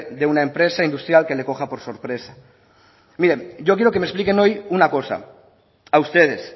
de una empresa industrial que le coja por sorpresa bien yo quiero que me expliquen hoy una cosa a ustedes